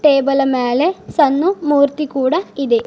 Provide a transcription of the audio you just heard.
Table ಮೇಲೆ ಸಣ್ಣ ಮೂರ್ತಿ ಕೂಡ ಇದೆ.